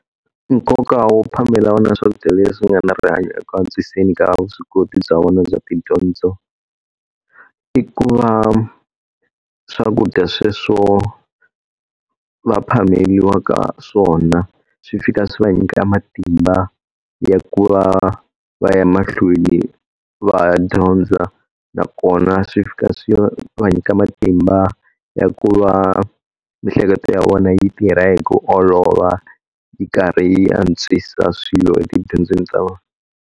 Nkoka wo phamela vana swakudya leswi nga na rihanyo eku antswiseni ka vuswikoti bya vona bya tidyondzo. I ku va swakudya sweswo va phameriwa ka swona swi fika swi va nyika matimba ya ku va va ya mahlweni va dyondza, nakona swi fika swo va nyika matimba ya ku va miehleketo ya vona yi tirha hi ku olova yi karhi yi antswisa swilo tidyondzo ta vona.